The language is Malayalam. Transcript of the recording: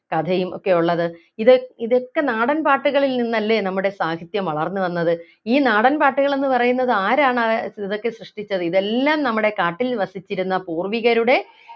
കഥയും ഒക്കെയുള്ളത് ഇതോ ഇതൊക്കെ നാടൻ പാട്ടുകളിൽ നിന്നല്ലേ നമ്മുടെ സാഹിത്യം വളർന്നുവന്നത് ഈ നാടൻപാട്ടുകൾ എന്ന് പറയുന്നത് ആരാണ് ആഹ് ഏർ ഇതൊക്കെ സൃഷ്ടിച്ചത് ഇതെല്ലാം നമ്മുടെ കാട്ടിൽ വസിച്ചിരുന്ന പൂർവികരുടെ